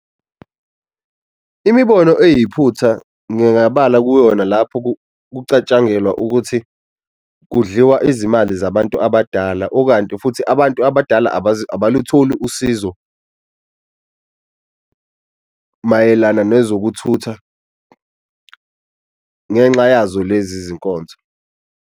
Imibono eyiphutha ngingabala kuyona lapho kucatshangelwa ukuthi kudliwa izimali zabantu abadala, okanti futhi abantu abadala abalutholi usizo mayelana nezokuthutha ngenxa yazo lezi zinkonzo.